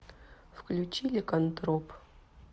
включи ликантроп